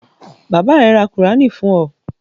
Bàbá rẹ ra Kùránì fún ọ?